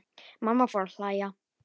Mamma fór að hlæja.